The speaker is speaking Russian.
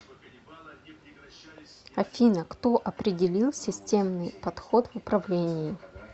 афина кто определил системный подход в управлении